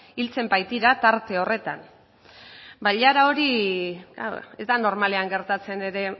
hiltzen baitira tarte horretan bailara hori ez da normalean gertatzen ere